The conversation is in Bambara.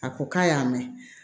A ko k'a y'a mɛn